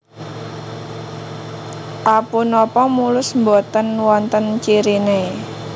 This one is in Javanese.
A Punapa mulus boten wonten ciriné